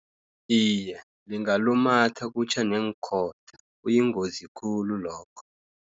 Iye, lingalumatha kutjhe neenkhotha kuyingozi khulu lokho.